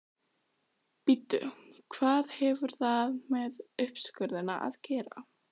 Bíddu hvað hefur það með uppskurðinn að gera?